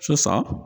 Sisan